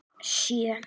Sjö